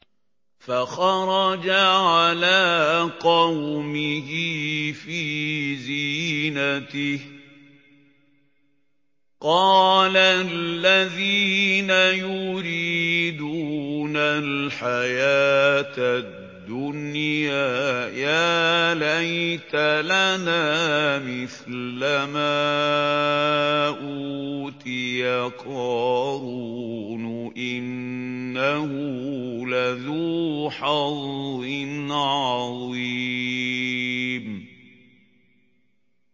فَخَرَجَ عَلَىٰ قَوْمِهِ فِي زِينَتِهِ ۖ قَالَ الَّذِينَ يُرِيدُونَ الْحَيَاةَ الدُّنْيَا يَا لَيْتَ لَنَا مِثْلَ مَا أُوتِيَ قَارُونُ إِنَّهُ لَذُو حَظٍّ عَظِيمٍ